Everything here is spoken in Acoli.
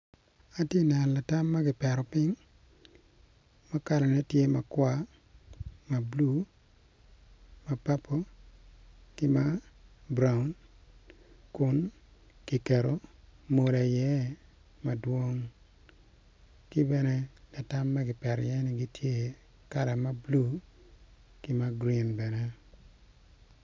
Atye neno latam makipeto ping ma kala ne tye makwar mablue ma purple ki ma brown kun kiketo mola iye kibene latam maki peto iye ni gitye kala mablue ki ma green bene